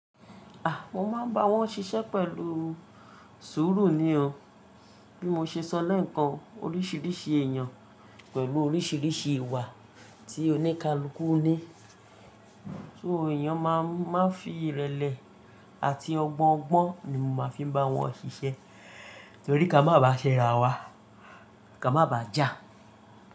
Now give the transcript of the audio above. Mo máa ń bá wọn ṣiṣẹ́ pẹ̀lú sùúrù ni o. Bí mo ṣe sọ lẹ́ẹ̀kan, oríṣiríṣi èèyàn pẹ̀lú oríṣiríṣi ìwà tí oníkálukú ní. So èèyàn máa ń máa fi ìrẹ̀lẹ̀ àti ọgbọ́n ọgbọ́n ni mo máa fi ń bá wọn ṣiṣẹ́ torí ká má bàá ṣ'ẹra wa, ká má bàá jà.